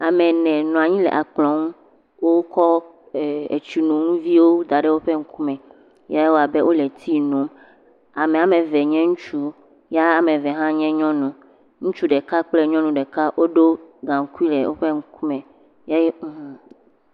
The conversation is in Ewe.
Ame ene nɔ anyi le akplɔ ŋu, wokɔ etsinu viwo da ɖe woƒe ŋkume ya ewa abe wole tsi nu. Amea woame eve nye ŋutsu ya am eve hã nye nyɔnu. Ŋutsu ɖeka kple nyɔnu ɖeka woɖo gaŋkui ɖe woƒe ŋkume eye hhmm…